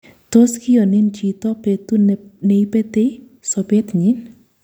Tos kiyon hin chito petu neipeti sopet nyi?